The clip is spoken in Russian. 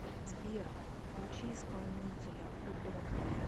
сбер включи исполнителя ху донт ви